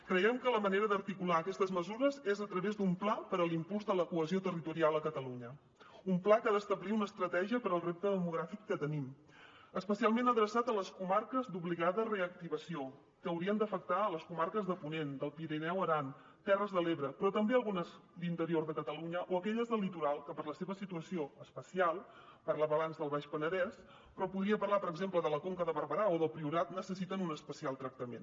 creiem que la manera d’articular aquestes mesures és a través d’un pla per a l’impuls de la cohesió territorial a catalunya un pla que ha d’establir una estratègia per al repte demogràfic que tenim especialment adreçat a les comarques d’obligada reactivació que haurien d’afectar les comarques de ponent del pirineu aran terres de l’ebre però també algunes d’interior de catalunya o aquelles del litoral que per la seva situació especial parlava abans del baix penedès però podria parlar per exemple de la conca de barberà o del priorat necessiten un especial tractament